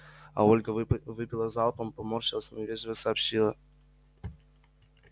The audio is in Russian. а ольга выпила залпом поморщилась но вежливо сообщила